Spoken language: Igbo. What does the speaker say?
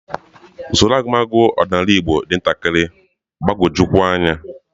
Usoro agụmagụ ọdịnala Igbo dị ntakịrị mgbagwoju anya